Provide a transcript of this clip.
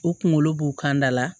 U kunkolo b'u kan da la